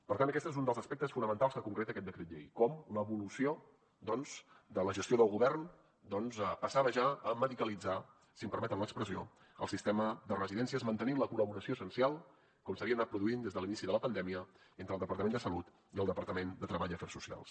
per tant aquest és un dels aspectes fonamentals que concreta aquest decret llei com l’evolució doncs de la gestió del govern passava ja a medicalitzar si em permeten l’expressió el sistema de residències mantenint la col·laboració essencial com s’havia anat produint des de l’inici de la pandèmia entre el departament de salut i el departament de treball i afers socials